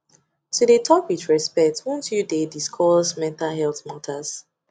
to dey talk with respect want you dey discuss mental health matters